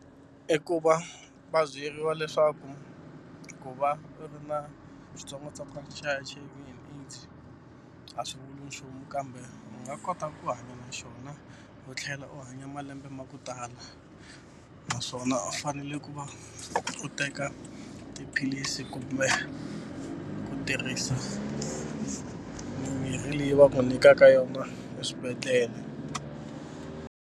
I ku va va byeriwa leswaku ku va u ri na xitsongwatsongwana xa H_I_V and AIDS a swi vuli nchumu kambe u nga kota ku hanya na xona u tlhela u hanya malembe ma ku tala naswona u fanele ku va u teka tiphilisi kumbe ku tirhisa mimirhi leyi va ku nyikaka yona eswibedhlele.